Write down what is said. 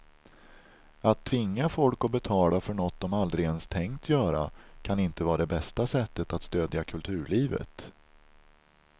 Att tvinga folk att betala för något de aldrig ens tänkt göra kan inte vara det bästa sättet att stödja kulturlivet.